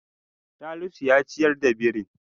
Salisu ya ciyar da birin.